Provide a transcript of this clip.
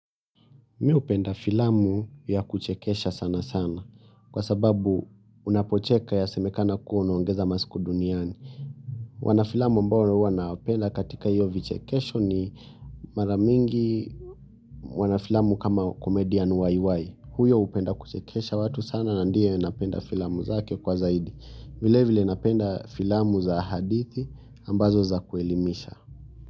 Mi hupenda filamu ya kuchekesha sana sana kwa sababu unapocheka yasemekana kuwa unaongeza masiku duniani wanafilamu ambao huwa nawapenda katika hio vichekesho ni mara mingi wanafilamu kama komedian yy. Huyo hupenda kuchekesha watu sana na ndio napenda filamu zake kwa zaidi. Vile vile napenda filamu za hadithi ambazo za kuelimisha.